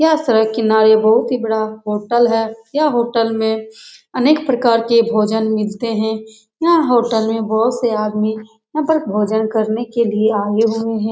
यह सड़क के किनारे बहुत ही बड़ा होटल है यह होटल में अनेक प्रकार के भोजन मिलते हैं यह होटल में बहुत से आदमी यहाँ पर भोजन करने के लिए आये हुए हैं ।